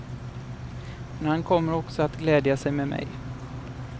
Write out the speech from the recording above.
Men han kommer också att glädja sig med mig.